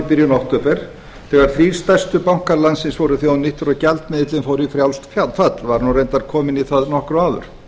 byrjun október þegar þrír stærstu bankar landsins voru þjóðnýttir og gjaldmiðillinn fór í frjálst fall var nú reyndar kominn í það nokkru áður